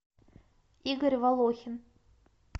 игорь волохин